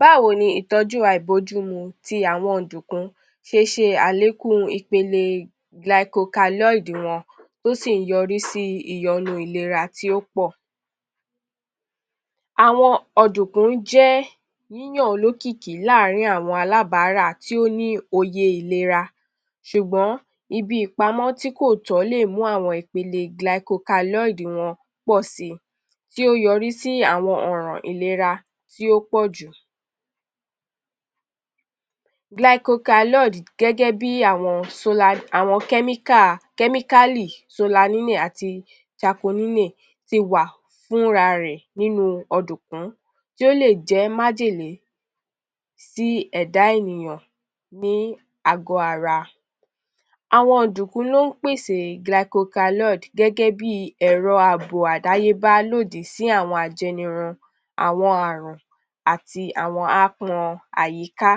Báwo ni ìtọ́jú àìbójúmu ti àwọn ọ̀dùnkún ṣe ṣe àlékún ìpele gilaikokalọ́ìdì [glycoalkaloids] wọn tí ó sì ń yọrí sí ìyọnu ìlera tí ó pọ̀? Àwọn ọ̀dùnkún jẹ́ yíyàn olókìkí láàárín àwa alábárà tí ó ní òye ìlera ṣùgbọ́n ibi ìpamọ́ tí kò tọ́ lè mú àwọn ìpele glycocaloid wọn pọ̀ si tí ó yọrí sí àwọn ọ̀ràn ìlera tí ó pọ̀ jù. Gilaikokalọ́ìdì [glycoalkaloids] gẹ́gẹ́ bí [àwọn sólà…] àwọn chemical [chemically] solanimin àti ṣakonímìn ti wà fúnrarẹ̀ nínú ọ̀dùnkún tí ó lè jẹ́ májèlé sí ẹ̀dá ènìyàn ní àgọ́ ara. Àwọn ọ̀dùnkún ló ń pèsè gilaikokalọ́ìdì [glycoalkaloids] gẹ́gẹ́ bi ẹ̀rọ ààbò àdáyébá lòdì sí àwọn ajẹnirun, àwọn àrùn àti àwon aápọn àyíká.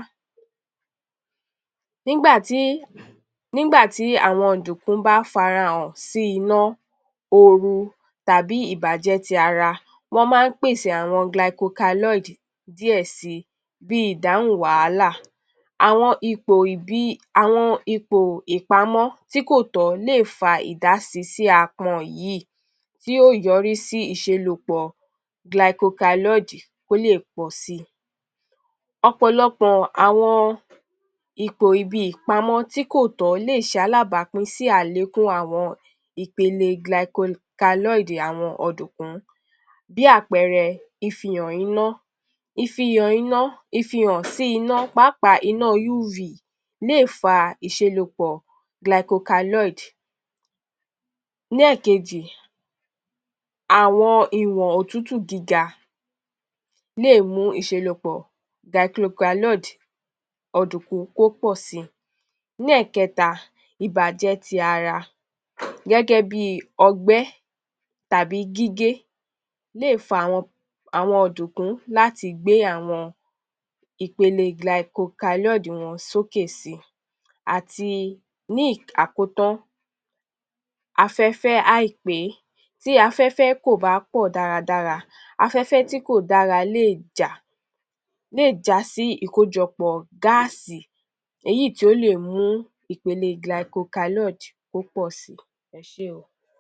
[Nígbà tí…] Nígbà tí àwọn ọ̀dùnkún bá farahàn sí iná, ooru tàbí ìbàjẹ́ ti ara, wọ́n máa ń pèsè àwọn gilaikokalọ́ìdì [glycoalkaloids] díẹ̀ si bi ìdáhùn wàhálà. [Àwọn ipò ibi…] Àwọn ipò ìpamọ́ tí kò tọ́ lè fa ìdásí sí aápọn yìí tí yóò yọrí sí ìṣelòpọ̀ gilaikokalọ́ìdì [glycoalkaloids] kó lè pọ̀ si. Ọ̀pọ̀lọpọ̀ àwọn ipò ibi ìpamọ́ tí kò tó lè ṣe alábàápín sí àlékún àwọn ìpele gilaikokalọ́ìdì [glycoalkaloids] ọ̀dùnkún. Bí àpẹẹrẹ ìfihàn iná. Ìfihàn iná. Ìfihàn sí iná pàápàá iná UV lè fa ìṣelòpọ̀ gilaikokalọ́ìdì [glycoalkaloids]. Ní ẹ̀kejì, àwọn ìwọ̀n òtútù gíga lè mú ìṣelòpọ̀ gilaikokalọ́ìdì [glycoalkaloids] ọ̀dùnkún kó pọ̀ si. Ní ẹ̀kẹta, ìbàjẹ́ ti ara gẹ́gẹ́ bi ọgbẹ́ tàbí gígé lè fàwọn àwọn ọ̀dùnkún láti gbé àwọn ìpele gilaikokalọ́ìdì [glycoalkaloids] wọn sókè si. Àti ní àkótán, afẹ́fẹ́ àìpé Tí afẹ́fẹ́ kò bá pọ̀ dáradára. Afẹ́fẹ́ tí kò dára [lè jà] lè já sí ìkójọpọ̀ gáàsì [gas] èyí tí ó lè mú ìpele gilaikokalọ́ìdì [glycoalkaloids] kó pọ̀ si. Ẹ ṣé o.